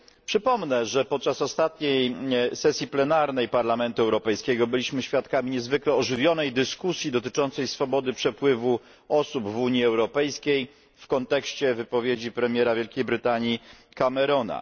Przypomnę, że podczas ostatniej sesji plenarnej Parlamentu Europejskiego byliśmy świadkami niezwykle ożywionej dyskusji dotyczącej swobody przepływu osób w Unii Europejskiej w kontekście wypowiedzi premiera Wielkiej Brytanii Camerona.